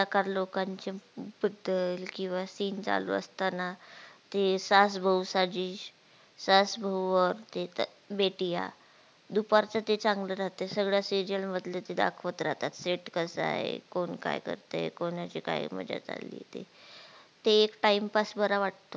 आस बहु और ते तर बेटीया दुपार च ते चांगल राहत सगळ्या serial मधलं ते दाखवत राहतात set कसा हे कोण काय करतंय कोणाची काय मजा चालली हे ते ते एक time pass बरा वाटतो.